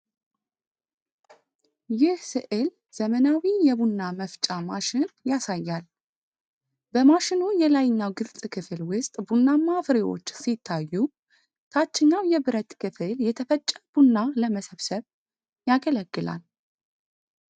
ይህ ሥዕል ዘመናዊ የቡና መፍጫ ማሽን ያሳያል። በማሽኑ የላይኛው ግልጽ ክፍል ውስጥ ቡናማ ፍሬዎች ሲታዩ፣ ታችኛው የብረት ክፍል የተፈጨ ቡና ለመሰብሰብ ያገለግላል።